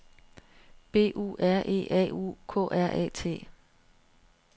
B U R E A U K R A T